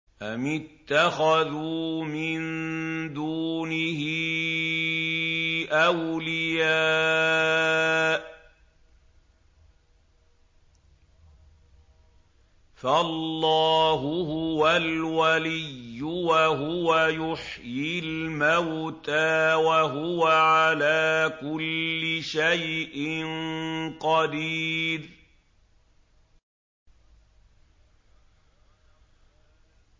أَمِ اتَّخَذُوا مِن دُونِهِ أَوْلِيَاءَ ۖ فَاللَّهُ هُوَ الْوَلِيُّ وَهُوَ يُحْيِي الْمَوْتَىٰ وَهُوَ عَلَىٰ كُلِّ شَيْءٍ قَدِيرٌ